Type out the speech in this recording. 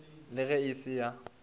le ge e se ya